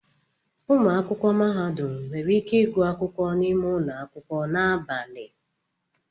Ụmụ akwụkwọ mahadum nwere ike ịgụ akwụkwọ n'ime ụlọ akwụkwọ na abalị.